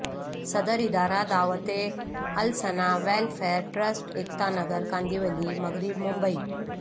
صدر ادارہ دعوتہ السنہ ویلفیرٹرسٹ ایکتا نگر کاندیولی مغرب ممبئی